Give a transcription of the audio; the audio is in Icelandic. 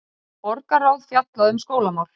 Borgarráð fjallaði um skólamál